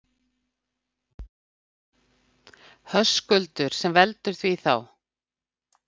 Höskuldur: Sem veldur því þá?